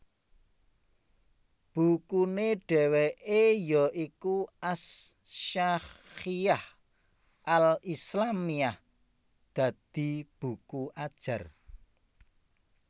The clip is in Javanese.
Bukune dheweke ya iku As Syakhshiyyah al Islâmiyyah dadi buku ajar